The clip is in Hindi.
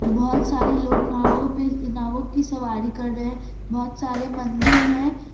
बहोत सारे लोग नावो पे नाव की सवारी कर रहे हैं बहोत सारे मंदील हैं।